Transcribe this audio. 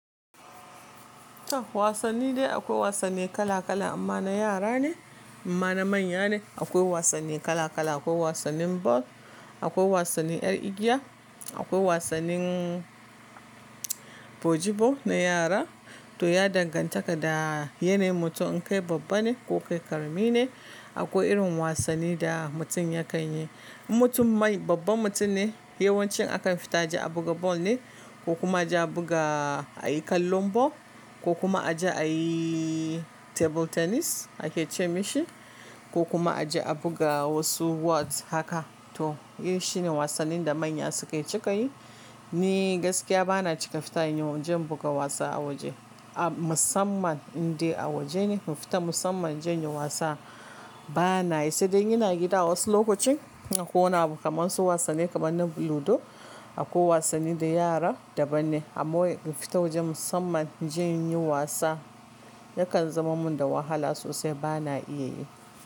Wasanni dai akwai wasanni kala kala, imma na yara ne, imma na manya ne. Akwai wasanni kala-kala, akwai wasannin ball, akwai wasanni 'yar igiya, akwai wasannin bojibo na yara. To ya dangantaka da yanayin mutum in kai babba ne ko kai ƙarami ne. Akwai irin wasanni da mutum ya kan yi. In mutum mai babban mutum ne, yawanci akan fita aje a buga ball ne ko kuma aje a buga ayi kallon ball ko kuma aje a yi table tennis ake ce mishi ko kuma aje a buga wasu whots haka. To eh shine wasannin da manya suke cika yi. Ni gaskiya bana cika fita inyo, inje in buga wasa a waje. A musamman indai a waje ne, mu fita musamman inje in yi wasa banayi, sai dai ina gida wasu lokacin akwai kama su wasanni kamar na ludo ko wasanni da yara daban ne. Amma wai in fita waje musamman inje inyi wasa yakan zama mun da wahala sosai bana iya yi.